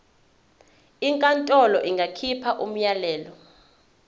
inkantolo ingakhipha umyalelo